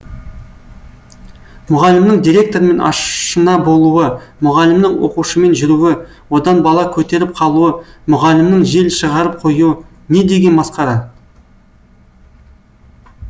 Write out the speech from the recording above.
мұғалімнің директормен ашына болуы мұғалімнің оқушымен жүруі одан бала көтеріп қалуы мұғалімнің жел шығарып қоюы не деген масқара